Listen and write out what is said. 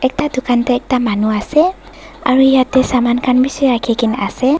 ya dukaan teh ekta manu ase aru yate saman khan bishi rekhi kine ase.